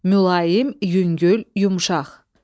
Mülayim, yüngül, yumşaq.